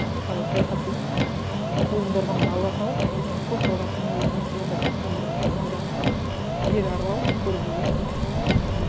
мысалы саяхат деген қолдорбаңды ала салып білмеймін хостелға түнеу немесе бір басқа бір амалдарын тауып жер аралау көру ғой иә шын мәнісінде